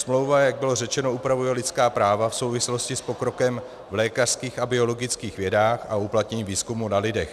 Smlouva, jak bylo řečeno, upravuje lidská práva v souvislosti s pokrokem v lékařských a biologických vědách a uplatnění výzkumu na lidech.